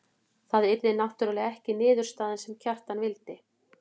Það yrði náttúrlega ekki niðurstaðan sem Kjartan vildi.